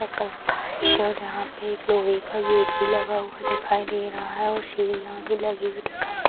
और यहां पर एक लोहे का गेट भी लगा हुआ दिखाई दे रहे हैं और सीढ़ियां भी लगी हुई दिखाई दे --